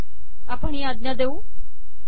आपण या आज्ञा देऊ